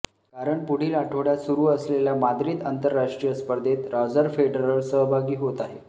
कारण पुढील आठवड्यात सुरू असलेल्या माद्रिद आंतरराष्ट्रीय स्पर्धेत रॉजर फेडरर सहभागी होत आहे